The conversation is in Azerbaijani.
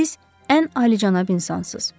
Siz ən alicənab insansınız.